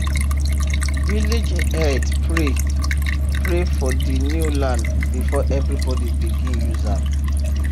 village head pray pray for the new land before everybody begin use am